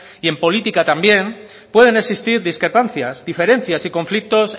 y en política también pueden existir discrepancias diferencias y conflictos